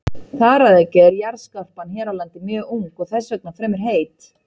Þar að auki er jarðskorpan hér á landi mjög ung og þess vegna fremur heit.